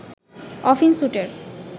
often স্যুটের